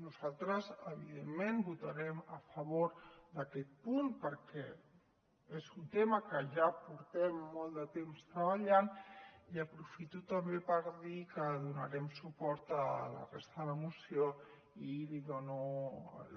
nosaltres evidentment votarem a favor d’aquest punt perquè és un tema que ja portem molt de temps treballant i aprofito també per dir que donarem suport a la resta de moció i li dono